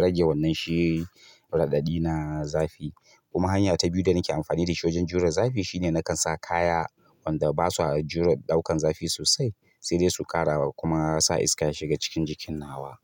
rage wannan shi raɗaɗi na zafi. Kuma hanya ta biyu da nake amfani da shi wajen jure zafi shine nakan sa kaya wanda basa jure ɗaukan zafi sosai, sai dai su ƙara kuma sa iska ya shiga cikin jikin nawa.